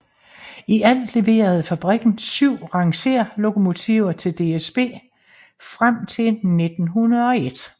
I alt leverede fabrikken syv rangerlokomotiver til DSB frem til 1901